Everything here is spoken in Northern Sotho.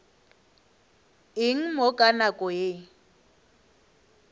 eng mo ka nako ye